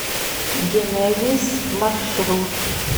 генезис маршрут